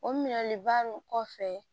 O minɛliba nun kɔfɛ